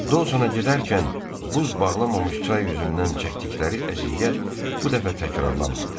Dosona gedərkən buz bağlamamış çay üzündən çəkdikləri əziyyət bu dəfə təkrarlanmadı.